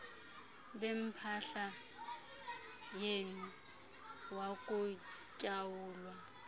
bempahla yenu wakuqhawulwa